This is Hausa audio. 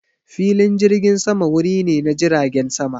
Filin jirgin sama wuri ne na jiragen sama.